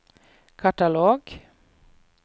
katalog